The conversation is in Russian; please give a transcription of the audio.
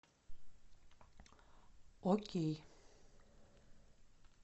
окей